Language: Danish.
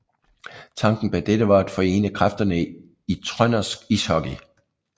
Tanken bag dette var at forene kræfterne i trøndersk ishockey